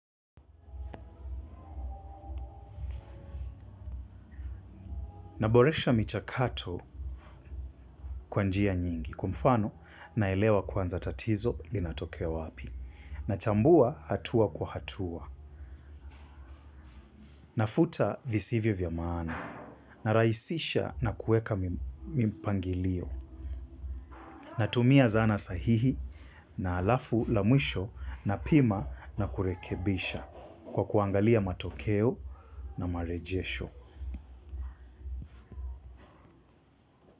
Naboresha michakato kwa njia nyingi, kwa mfano, naelewa kwanza tatizo linatokea wapi. Na chambua hatua kwa hatua. Nafuta visivyo vya maana. Na rahisisha na kuweka mipangilio. Natumia zana sahihi, na halafu la mwisho napima na kurekebisha kwa kuangalia matokeo marejesho.